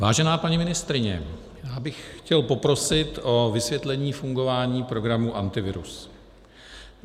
Vážená paní ministryně, já bych chtěl poprosit o vysvětlení fungování programu Antivirus.